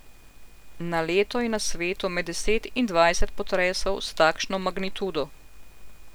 Na leto je na svetu med deset in dvajset potresov s takšno magnitudo.